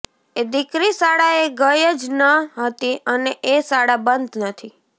એ દીકરી શાળાએ ગઇ જ ન હતી અને એ શાળા બંધ નથી